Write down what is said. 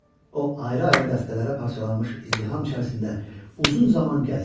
O ayrı-ayrı dəstələrə parçalanmış izdiham içərisində uzun zaman gəzdi.